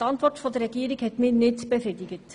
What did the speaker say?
Die Antwort der Regierung hat mich nicht befriedigt.